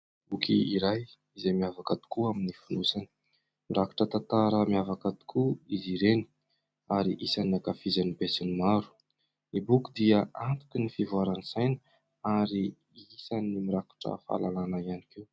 Boky iray izay miavaka tokoa amin'ny fonosany. Mirakitra tantara miavaka tokoa izy ireny, ary isan'ny ankafizin'ny be sy ny maro. Ny boky dia antoky ny fivoaran'ny saina ary isan'ny mirakitra fahalalana ihany koa.